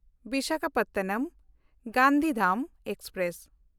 ᱵᱤᱥᱟᱠᱷᱟᱯᱚᱴᱱᱚᱢ–ᱜᱟᱱᱫᱷᱤᱫᱷᱟᱢ express